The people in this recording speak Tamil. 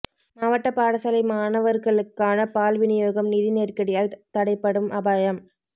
மாவட்ட பாடசாலை மாணவர்களுக்கான பால் விநியோகம் நிதி நெருக்கடியால் தடைப்படும் அபாயம்